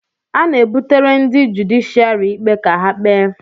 A na-ebutere ndị jụdịshịàrị ikpe ka ha kpee